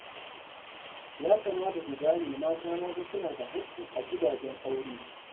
Ya kamata ku gane mata ma fa suna da haƙƙi a gidajen aure